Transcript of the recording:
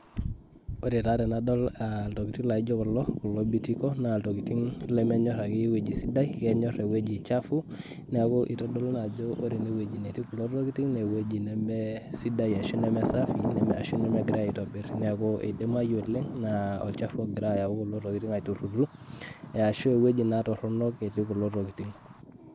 Ore taa tenadol iltokiting laijo kulo, kulo bitiko, naa iltokiting lemenyor akeyie ewueji sidai, kenyor ewueji chafu, neeku itodolu naa ajo ore enewueji netii kulo tokiting, newoji nemesidai ashu neme safi ,arashu nemegirai aitobir. Neeku idimayu oleng aa olchafu ogira ayau kulo tokiting aiturrur, ashu ewueji naa torronok etii kulo tokiting.